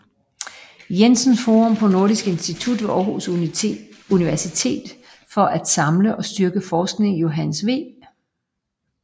Jensen Forum på Nordisk Institut ved Aarhus Universitet for at samle og styrke forskningen i Johannes V